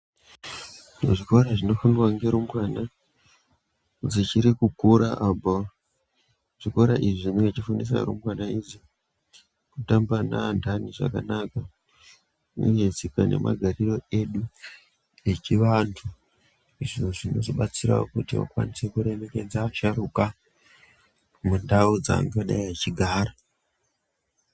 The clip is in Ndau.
Muzvikora zvinofundwa ngerumbwana dzichiri kukura abho zvikora izvi zvinenge zvichifundisa rumbwana idzi kutamba neanhani zvakanaka uye tsika nemagarire edu echivanhu izvo zvinozodetsera kuti akwanise kuremekedza asharukwa mundau dzavangadei vechigara.